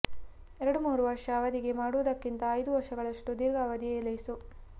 ಎರಡು ಮೂರು ವರ್ಷ ಅವಧಿಗೆ ಮಾಡು ವುದಕ್ಕಿಂತ ಐದು ವರ್ಷಗಳಷ್ಟು ದೀರ್ಘ ಅವಧಿಯೇ ಲೇಸು